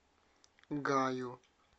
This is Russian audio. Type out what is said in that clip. гаю